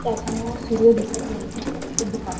सूर्य दिसत नाही एवढा खास.